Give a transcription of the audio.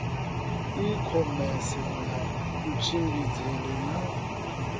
i khomese ya kutshimbidzele na